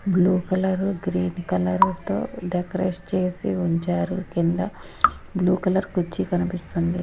Blue colour green colour తో decoration చేసి ఉంచారు కింద బ్లూ కలర్ కుచ్చి కనిపిస్తుంది.